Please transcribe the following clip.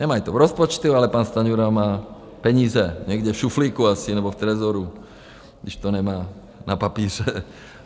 Nemají to v rozpočtu, ale pan Stanjura má peníze někde v šuplíku asi nebo v trezoru, když to nemá na papíře.